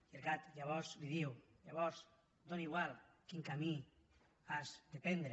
i el gat llavors li diu llavors és igual quin camí has de prendre